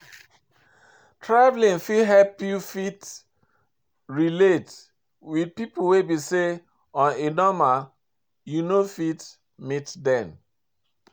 Travelling fit help you fit relate with pipo wey be sey on a normal you no fit meet them